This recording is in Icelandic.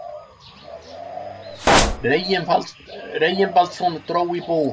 Reginbaldsson dró í bú.